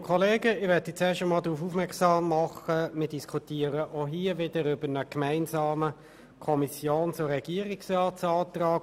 der BaK. Wir diskutieren auch hier wieder über einen gemeinsamen Antrag von Regierung und Kommission.